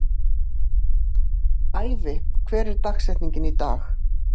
Ævi, hver er dagsetningin í dag?